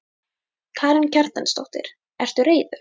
Karen Kjartansdóttir: Ertu reiður?